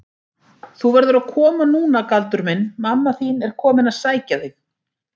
Þú verður að koma núna Galdur minn, mamma þín er komin að sækja þig.